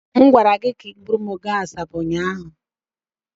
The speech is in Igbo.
M gwara gị ka I bugara m Asaba ụnyaahụ.